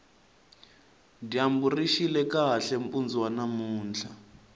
dyambu rixile kahle mpundu wa namuntlha